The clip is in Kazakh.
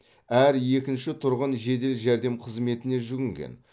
әр екінші тұрғын жедел жәрдем қызметіне жүгінген